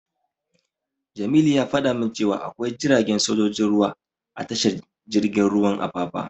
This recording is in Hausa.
Jamilu ya fada min cewa akwai jiragen sojojin ruwa a tashar jirgin ruwan Apapa.